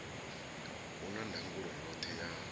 u na ndangulo yoṱhe ya